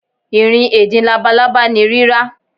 Irin edin labalaba ni rira.